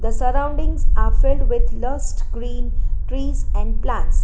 The surroundings are filled with lust green trees and plants